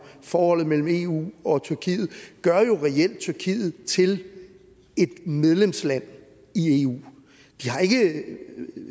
forholdet mellem eu og tyrkiet gør jo reelt tyrkiet til et medlemsland i eu de har ikke